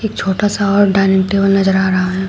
छोटा सा और डाइनिंग टेबल नजर आ रहा हैं।